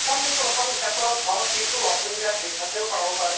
থম প্ৰথম ক্ষেত্ৰত ধৰা কিছু অসুবিধা শিক্ষ্কেও পাব পাৰে